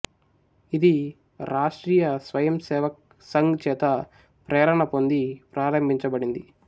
ఇది రాష్ట్రీయ స్వయంసేవక్ సంఘ్ చేత ప్రేరణ పొంది ప్రారంభించబడింది